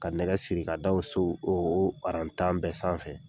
Ka nɛgɛ siri k'a da so o o aran tan bɛɛ sanfɛ